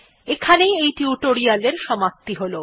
এখানেই এই টিউটোরিয়াল্ এর সমাপ্তি হল